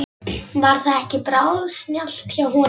Var það ekki bráðsnjallt hjá honum?